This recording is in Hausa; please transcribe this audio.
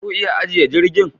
Za ku iya ajiye jirgin